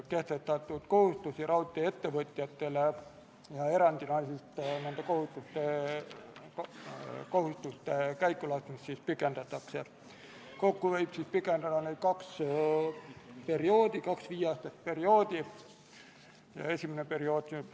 See panus on kuni 24 kaitseväelast, st neljaliikmeline improviseeritud lõhkeseadmete vastase tegevuse meeskond, kolmeliikmeline strateegilise kommunikatsiooni meeskond, viieliikmeline meedikute meeskond, õhutulejuht, neljaliikmeline miinituukrimeeskond ja seitsmeliikmeline toetuselement.